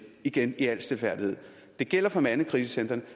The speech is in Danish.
igen i al stilfærdighed det gælder for mandekrisecentrene